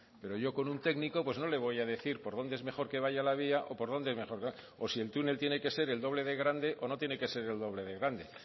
pero yo con un técnico pues no le voy a decir por dónde es mejor que vaya la vía o por dónde o si el túnel tiene que ser el doble de grande o no tiene que ser el doble de grande